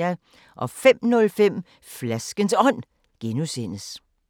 05:05: Flaskens Ånd (G)